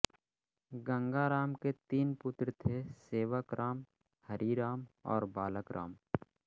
गंगा राम के तीन पुत्र थे सेवक राम हरि राम और बालक राम